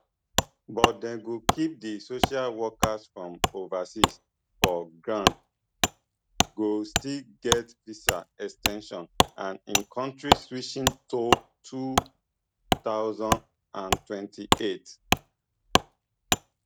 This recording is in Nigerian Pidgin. but dem go keep di social workers from overseas for ground go still get visa ex ten sions and in kontri switching toll two thousand and twenty-eight